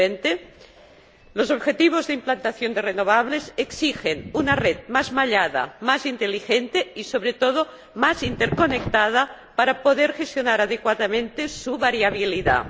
2020? Los objetivos de implantación de renovables exigen una red más mallada, más inteligente y, sobre todo, más interconectada para poder gestionar adecuadamente su variabilidad.